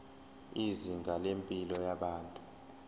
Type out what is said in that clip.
izinga lempilo yabantu